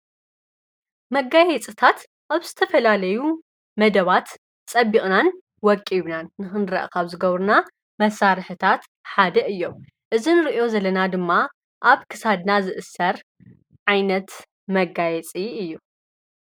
መጋየፅታት ኣብ ዝተፈላለዩ መደባት ፀቢቅናን ወቂብናን ንኽንረአ ካብ ዝገብሩና መሳርሕታት ሓደ እዮም፡፡ እዚ እንሪኦ ዘለና ድማ ኣብ ክሳድና ዝእሰር ዓይነት መጋየፂ እዩ፡፡